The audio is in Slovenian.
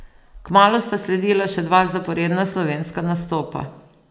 Kmalu sta sledila še dva zaporedna slovenska nastopa.